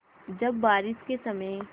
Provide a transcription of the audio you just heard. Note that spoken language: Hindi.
जब बारिश के समय